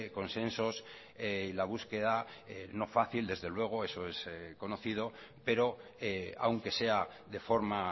consensos la búsqueda no fácil desde luego eso es conocido pero aunque sea de forma